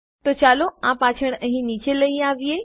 તો ચાલો આ પાછા અહીં નીચે લઇ આવીએ